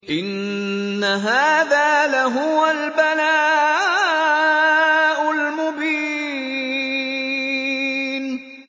إِنَّ هَٰذَا لَهُوَ الْبَلَاءُ الْمُبِينُ